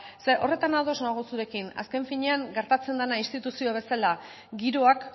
zeren horretan ados nago zurekin azken finean gertatzen dena instituzio bezala giroak